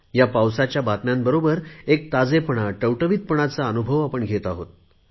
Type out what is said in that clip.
ह्या पावसाच्या बातम्यांबरोबर एक ताजेपणा टवटवीतपणाचा अनुभवही आपण घेत आहोत